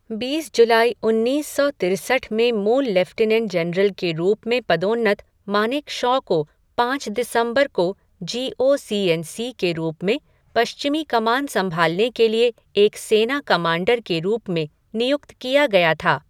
बीस जुलाई उन्नीस सौ तिरसठ में मूल लेफ़्टिनेंट जनरल के रूप में पदोन्नत, मानेकशॉ को पाँच दिसंबर को G O C in C के रूप में पश्चिमी कमान संभालने के लिए एक सेना कमांडर के रूप में नियुक्त किया गया था।